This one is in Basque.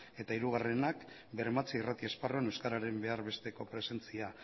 eta hirugarrenak bermatzea irrati esparruan euskararen behar besteko presentzia